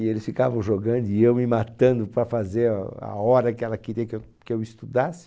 E eles ficavam jogando e eu me matando para fazer a hora que ela queria que eu que eu estudasse.